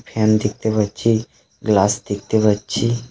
Fan দেখতে পাচ্ছি glass দেখতে পাচ্ছি.